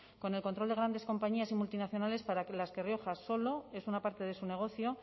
con el control de grandes compañías y multinacionales para las que rioja solo es una parte de su negocio